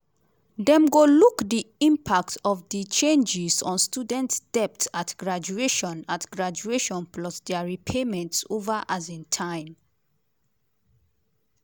dem go look di impact of di changes on students' debt at graduation at graduation plus dia repayments over um time.